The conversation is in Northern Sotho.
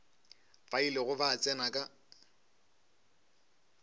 ba ilego ba tsena ka